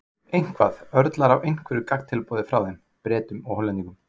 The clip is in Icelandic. Heimir Már Pétursson: Eitthvað, örlar á einhverju gagntilboði frá þeim, Bretum og Hollendingum?